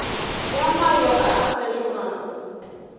ya mayo a a fetogago